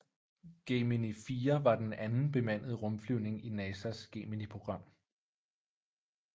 Gemini 4 var den anden bemandede rumflyvning i NASAs Geminiprogram